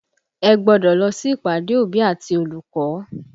Ẹ gbọ́dọ̀ lọ sí ìpàdé òbí àti olùkọ́!